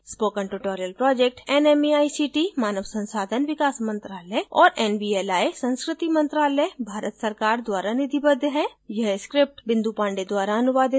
spoken tutorial project nmeict मानव संसाधन विकास मंत्रायल और nvli संस्कृति मंत्रालय भारत सरकार द्वारा निधिबद्ध है